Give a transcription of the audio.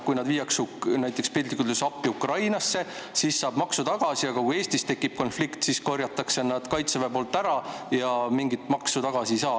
Kui nad viiakse piltlikult öeldes appi Ukrainasse, siis saab maksu tagasi, aga kui Eestis tekib konflikt, siis korjab Kaitsevägi need ära ja mingit maksu tagasi ei saa.